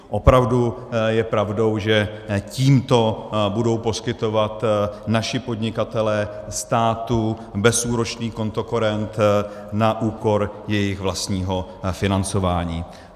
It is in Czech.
Opravdu je pravdou, že tímto budou poskytovat naši podnikatelé státu bezúročný kontokorent na úkor svého vlastního financování.